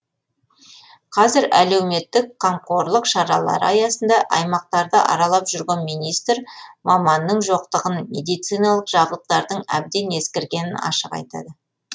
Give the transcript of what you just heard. қазір әлеуметтік қамқорлық шаралары аясында аймақтарды аралап жүрген министр маманның жоқтығын медициналық жабдықтардың әбден ескіргенін ашық айтады